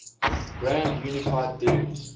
grand unified theories